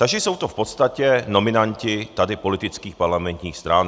Takže jsou to v podstatě nominanti tady politických parlamentních stran.